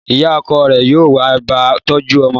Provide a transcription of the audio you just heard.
Ìyá okò rè yóò wá ba tójú omo